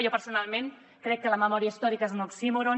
jo personalment crec que la memòria històrica és un oxímoron